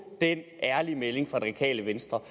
den ærlige melding radikale venstre